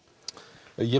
ég